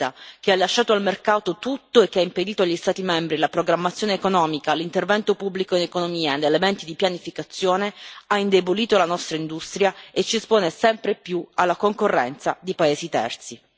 Insistere nel modello economico e sociale neoliberista, che ha lasciato al mercato tutto e che ha impedito agli Stati membri la programmazione economica, l'intervento pubblico in economia e gli elementi di pianificazione, ha indebolito la nostra industria e ci espone sempre più alla concorrenza di paesi terzi.